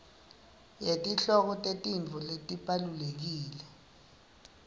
yetihloko tetintfo letibalulekile